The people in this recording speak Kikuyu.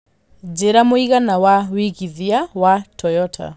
njĩira mũigana wa wĩigĩthĩa wa Toyota